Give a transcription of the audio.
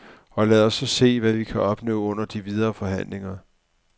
Og lad os så se, hvad vi kan opnå under de videre forhandlinger.